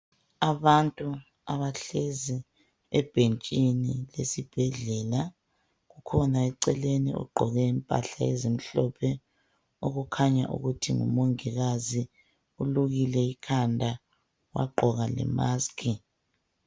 Abantu abahlezi ebhentshini esibhedlela kukhona eceleni ogqoke impahla ezimhlophe okukhanya ukuthi ngumongikazi ulukile ikhanda wagqoka lemasikhi.